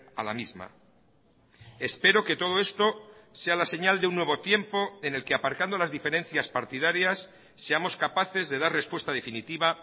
a la misma espero que todo esto sea la señal de un nuevo tiempo en el que aparcando las diferencias partidarias seamos capaces de dar respuesta definitiva